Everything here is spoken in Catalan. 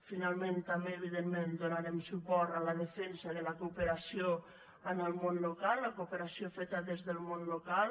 finalment també evidentment donarem suport a la defensa de la cooperació en el món local la cooperació feta des del món local